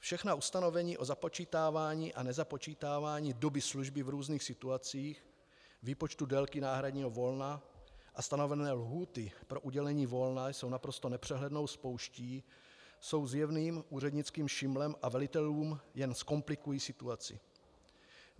Všechna ustanovení o započítávání a nezapočítávání doby služby v různých situacích, výpočtu délky náhradního volna a stanovené lhůty pro udělení volna jsou naprosto nepřehlednou spouští, jsou zjevným úřednickým šimlem a velitelům jen zkomplikují situaci.